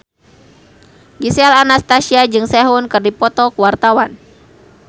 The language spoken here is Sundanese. Gisel Anastasia jeung Sehun keur dipoto ku wartawan